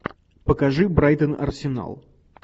покажи брайтон арсенал